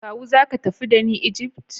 Kawu zaka tafi dani Egypt?